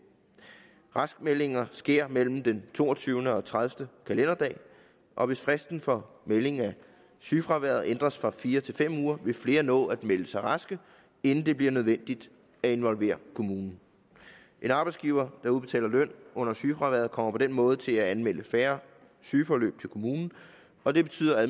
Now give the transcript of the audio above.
raskmeldinger sker mellem den toogtyvende og tredivete kalenderdag og hvis fristen for meldingen af sygefraværet ændres fra fire uger til fem uger vil flere nå at melde sig raske inden det bliver nødvendigt at involvere kommunen en arbejdsgiver der udbetaler løn under sygefraværet kommer på den måde til at anmelde færre sygeforløb til kommunen og det betyder